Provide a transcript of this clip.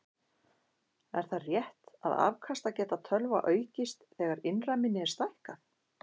Er það rétt að afkastageta tölva aukist þegar innra minni er stækkað?